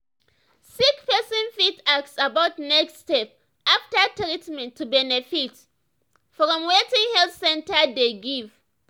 sick person fit ask about next step after treatment to benefit from wetin health center dey give.